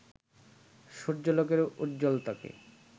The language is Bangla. সূর্যালোকের উজ্জ্বলতাকে